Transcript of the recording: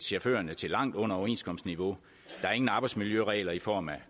chaufførerne til langt under overenskomstniveau der er ingen arbejdsmiljøregler i form af